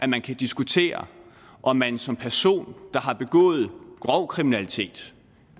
man kan diskutere om man som person der har begået grov kriminalitet